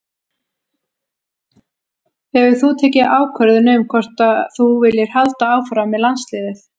Hefur þú tekið ákvörðun um hvort að þú viljir halda áfram með landsliðið?